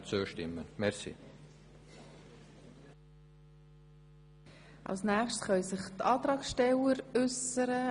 Die Erstverarbeitung bis zum Normteil/Halbfabrikat soll separat ausgeschrieben werden.